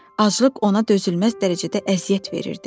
Aclıq ona dözülməz dərəcədə əziyyət verirdi.